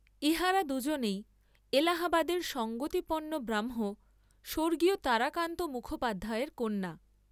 ইহারা দুইজনেই এলাহাবাদের সঙ্গতিপন্ন ব্রাহ্ম স্বর্গীয় তারাকান্ত মুখোপাধ্যায়ের কন্যা।